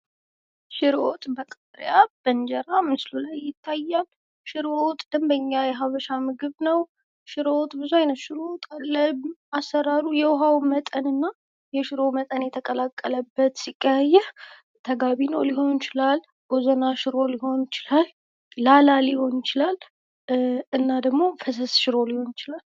ሽሮ ወጥ በቃርያ በእንጀራ ምስሉ ላይ ይታያል ። ሽሮ ወጥ ደምበኛ የሀበሻ ምግብ ነው ። ሽሮ ወጥ ብዙ አይነት ሽሮ ወጥ አለ ። አሰራሩ የውሃው መጠን እና የሽሮ መጠን የተቀላቀለበት ሲቀያየር ተጋቢኖ ሊሆን እችላለሁ፣ ቦዘና ሽሮ ሊሆን ይችላል፣ ላላ ሊሆን ይችላል እና ደግሞ ፈሰስ ሽሮ ሊሆን ይችላል።